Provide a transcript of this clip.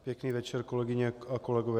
Pěkný večer, kolegyně a kolegové.